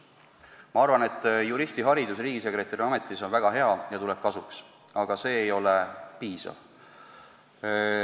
Ma arvan, et juristiharidus riigisekretäri ametis on väga hea ja tuleb kasuks, aga see ei ole piisav.